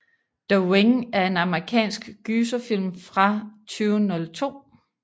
The Ring er en amerikansk gyserfilm fra 2002